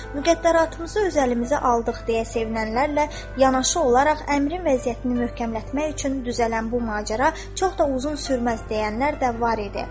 Müqəddəratımızı öz əlimizə aldıq deyə sevinənlərlə yanaşı olaraq əmrin vəziyyətini möhkəmlətmək üçün düzələn bu macəra çox da uzun sürməz deyənlər də var idi.